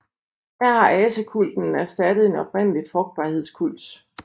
Her har asekulten erstattet en oprindelig frugtbarhedskult